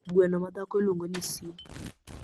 Gweno ma madhako iluongo ni si.